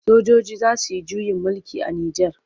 Sojoji za su yi juyin mulki a Nijar.